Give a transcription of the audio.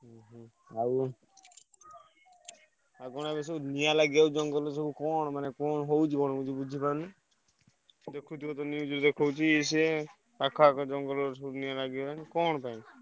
ଉହୁଁ। ଆଉ ଆଉ କଣ ଏବେ ସବୁ ନିଆଁ ଲାଗିଯାଉଛି ଜଙ୍ଗଲରେ ସବୁ କଣ ମାନେ କଣ ହଉଛି କଣ ମୁଁ କିଛି ବୁଝିପାରୁନି ଦେଖୁଥିବ ତ news ରେ ଦେଖଉଛି ଇଏ ସିଏ ପାଖ ଆଖ ଜଙ୍ଗଲରେ ସବୁ ନିଆଁ ଲାଗିଗଲାଣି କଣ ପାଇଁ?